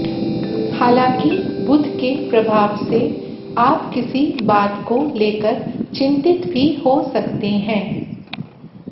हालांकि बुध के प्रभाव से आप किसी बात को लेकर चिंतित भी हो सकते हैं